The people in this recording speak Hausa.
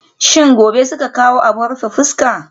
Shin gobe suke kawo abin rufe fuska?